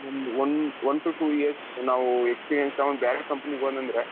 ನಾವು ಒಂದ್ one to two years ನಾವು experience ತಗೊಂಡು ಬೇರೆ companyಗೆ ಹೋದರೆ ಅಂದ್ರೆ .